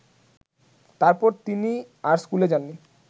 তারপর তিনি আর স্কুলে যাননি